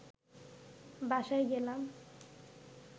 বাসায় গেলাম